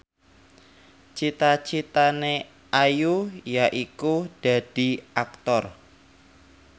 cita citane Ayu yaiku dadi Aktor